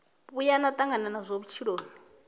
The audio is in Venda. vhuya na tangana nazwo vhutshiloni